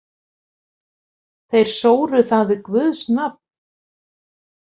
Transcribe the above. Þeir sóru það við guðs nafn.